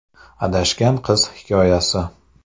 Adashgan qiz hikoyasi .